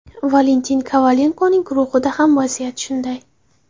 Valentin Kovalenkoning guruhida ham vaziyat shunday.